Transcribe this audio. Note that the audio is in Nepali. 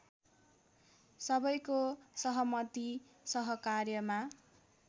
सबैको सहमति सहकार्यमा